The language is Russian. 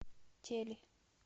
тели